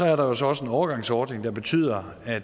er der jo så også en overgangsordning der betyder at